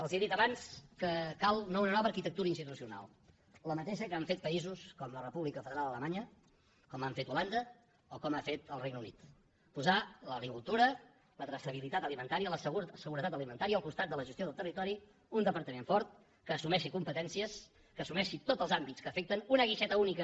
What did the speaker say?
els he dit abans que cal una nova arquitectura institucional la mateixa que han fet països com la república federal alemanya com ha fet holanda o com ha fet el regne unit posar l’agricultura la traçabilitat alimentària la seguretat alimentària al costat de la gestió del territori un departament fort que assumeixi competències que assumeixi tots els àmbits que l’afecten una guixeta única